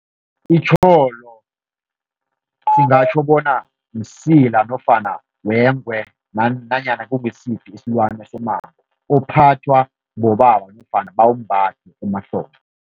Itjholo singatjho bona msila nofana wengwe nanyana kungisiphi isilwane somango, uphathwa bobaba nofana bawumbathe emahlombe.